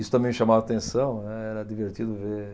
Isso também me chamava a atenção, né, era divertido ver.